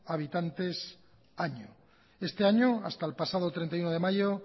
habitantes año este año hasta el pasado treinta y uno de mayo